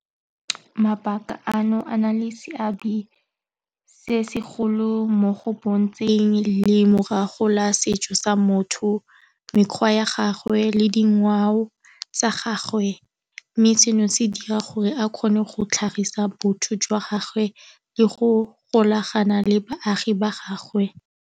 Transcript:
Mabaka ano a na le seabe se se golo mo go bontsheng le morago ga setso sa motho, mekgwa ya gagwe le dingwao tsa gagwe, mme seno se dira gore a kgone go tlhagisa botho jwa gagwe le go golagana le baagi ba gagwe.